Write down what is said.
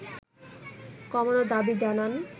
কমানোর দাবি জানান